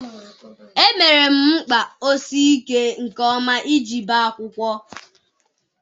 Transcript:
Emere mkpa ọ sii ike nke ọma iji bee akwụkwọ.